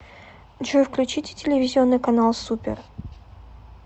джой включите телевизионный канал супер